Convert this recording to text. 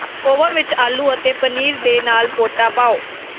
oven ਵਿੱਚ ਆਲੂ ਅਤੇ ਪਨੀਰ ਦੇ ਨਾਲ ਪੋਟਾ ਪਾਓ